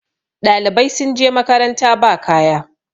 ɗalibai sun je makaranta ba kaya